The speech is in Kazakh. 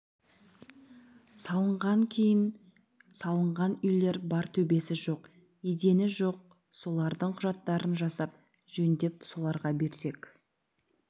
салынған кейін салынған үйлер бар төбесі жоқ едені жоқ солардың құжаттарын жасап жөндеп соларға берсек